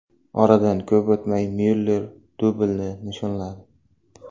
Oradan ko‘p o‘tmay Myuller dublini nishonladi.